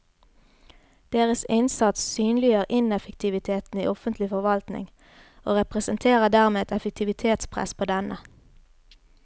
Deres innsats synliggjør ineffektiviteten i offentlig forvaltning og representerer dermed et effektivitetspress på denne.